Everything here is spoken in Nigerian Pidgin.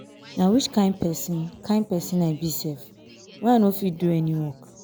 na which kin person kin person i be sef? why i no fit do any work.